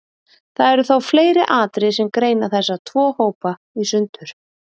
Það eru þó fleiri atriði sem greina þessa tvo hópa í sundur.